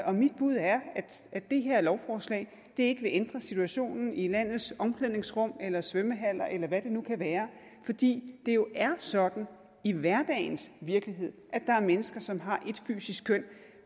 og mit bud er at det her lovforslag ikke vil ændre situationen i landets omklædningsrum eller svømmehaller eller hvad det nu kan være fordi det jo er sådan i hverdagens virkelighed at der er mennesker som har ét fysisk køn